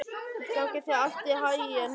Gangi þér allt í haginn, Jörvi.